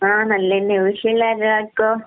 ആഹ് നല്ലത് തന്നെയാ, വീട്ടിലുള്ള എല്ലാർക്കോ?